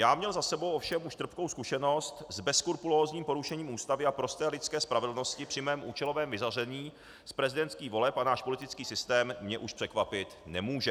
Já měl za sebou ovšem už trpkou zkušenost s bezskrupulózním porušením Ústavy a prosté lidské spravedlnosti při mém účelovém vyřazení z prezidentských voleb a náš politický systém mě už překvapit nemůže.